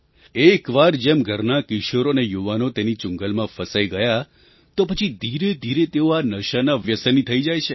એક વાર જેમ ઘરના કિશોર અને યુવાનો તેની ચુંગાલમાં ફસાઈ ગયા તો પછી ધીરેધીરે તેઓ આ નશાના વ્યસની થઈ જાય છે